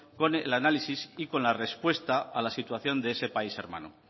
con el análisis y con la respuesta a la situación de ese país hermano